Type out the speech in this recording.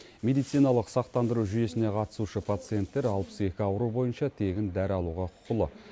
медициналық сақтандыру жүйесіне қатысушы пациенттер алпыс екі ауру бойынша тегін дәрі алуға құқылы